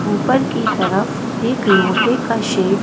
ऊपर की तरफ एक लोहे का शे--